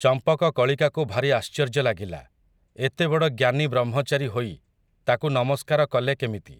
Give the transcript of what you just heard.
ଚମ୍ପକକଳିକାକୁ ଭାରି ଆଶ୍ଚର୍ଯ୍ୟ ଲାଗିଲା, ଏତେବଡ଼ ଜ୍ଞାନୀ ବ୍ରହ୍ମଚାରୀ ହୋଇ, ତାକୁ ନମସ୍କାର କଲେ କେମିତି ।